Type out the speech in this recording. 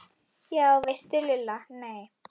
Já veistu Lulla, nei